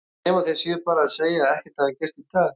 Nema þeir séu bara að segja að ekkert hafi gerst í dag.